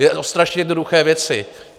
Je o strašně jednoduché věci.